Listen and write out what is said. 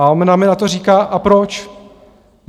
A ona mi na to říká: A proč?